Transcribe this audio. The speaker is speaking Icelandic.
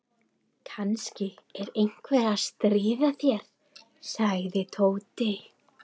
Kannski er einhver að stríða þér sagði Tóti.